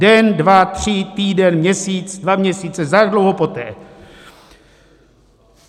Den, dva, tři, týden, měsíc, dva měsíce, za jak dlouho poté?